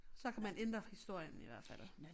Så kan man ændre historien i hvert fald